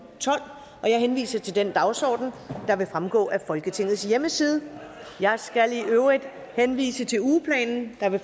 tolv jeg henviser til den dagsorden der vil fremgå af folketingets hjemmeside jeg skal i øvrigt henvise til ugeplanen der vil